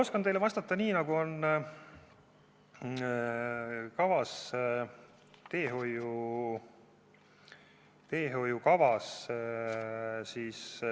Oskan teile vastata seda, mis on kirjas teehoiukavas.